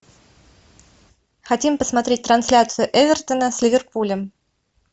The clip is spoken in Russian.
хотим посмотреть трансляцию эвертона с ливерпулем